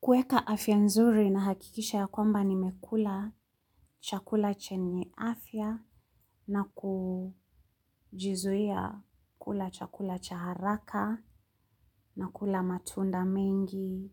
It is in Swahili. Kuweka afya nzuri na hakikisha ya kwamba nimekula chakula chenye afya na kujizuia kula chakula cha haraka na kula matunda mengi